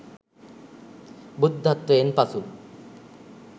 බුද්ධත්වයෙන් පසු